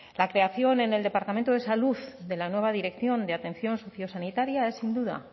la creación en el departamento de salud de la nueva dirección de atención sociosanitaria es sin duda